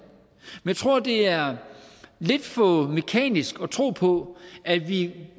men jeg tror det er lidt for mekanisk at tro på at vi